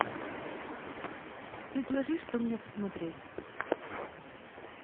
предложи что мне посмотреть